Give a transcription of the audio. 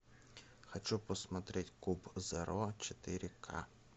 хочу посмотреть куб зеро четыре ка